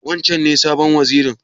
Wancen ne sabon wazirin?